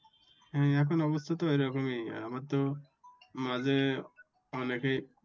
হ্যাঁ এখন অবস্থা তো ওই রকমই আমার তো মাঝে অনেকেই।